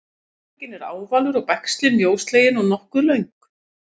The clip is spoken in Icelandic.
bakugginn er ávalur og bægslin mjóslegin og nokkuð löng